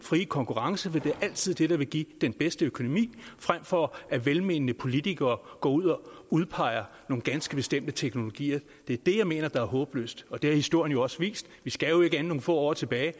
frie konkurrence det er altid det der vil give den bedste økonomi frem for at velmenende politikere går ud og udpeger nogle ganske bestemte teknologier det er det jeg mener er håbløst og det har historien jo også vist vi skal jo ikke længere end nogle få år tilbage